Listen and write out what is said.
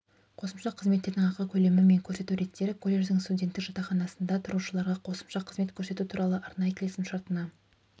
қосымша қызметтердің ақы көлемі мен көрсету реттері колледждің студенттік жатақханасында тұрушыларға қосымша қызмет көрсету туралы арнайы келісімшартына